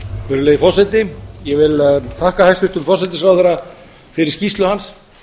virðulegi forseti ég vil þakka hæstvirtum forsætisráðherra fyrir skýrslu hans